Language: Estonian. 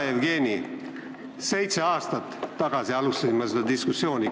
Hea Jevgeni, seitse aastat tagasi alustasin ma seda diskussiooni.